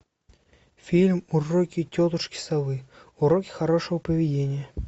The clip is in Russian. фильм уроки тетушки совы уроки хорошего поведения